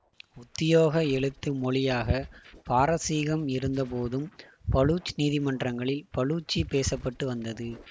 உத்தியோக எழுத்து மொழியாக பாரசீகம் இருந்தபோதும் பலூச் நீதிமன்றங்களில் பலூச்சி பேச பட்டு வந்தது